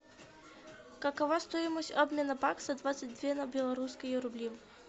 какова стоимость обмена бакса двадцать две на белорусские рубли